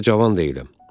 Həm də cavan deyiləm.